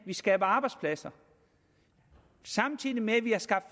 skaber arbejdspladser samtidig med at vi har skabt